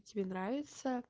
тебе нравится